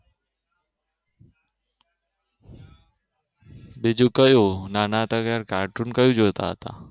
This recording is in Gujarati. બીજું કર્યું નાના હતા ત્યારે સાથીને કહી દેતા હતા